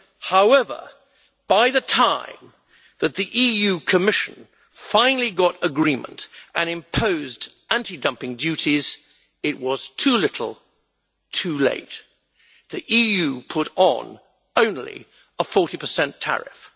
However, by the time the Commission finally got an agreement and imposed anti dumping duties, it was too little, too late the EU put on only a 40 tariff.